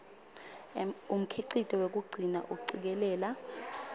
umkhicito wekugcina acikelela